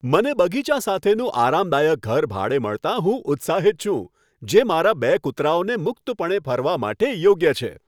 મને બગીચા સાથેનું આરામદાયક ઘર ભાડે મળતાં હું ઉત્સાહિત છું, જે મારા બે કૂતરાઓને મુક્તપણે ફરવા માટે યોગ્ય છે.